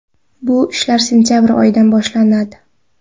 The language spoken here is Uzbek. Bu ishlar sentabr oyidan boshlanadi”.